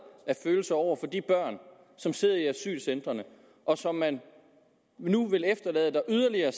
af følelser over for de børn som sidder i asylcentrene og som man nu vil efterlade der i yderligere